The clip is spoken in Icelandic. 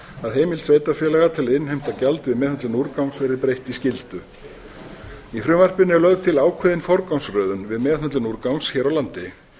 að heimild sveitarfélaga til að innheimta gjald við meðhöndlun úrgangs verði breytt í skyldu í frumvarpinu er lögð til ákveðin forgangsröðun við meðhöndlun úrgangs hér á landi